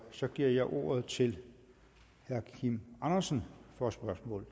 så giver jeg ordet til herre kim andersen for et spørgsmål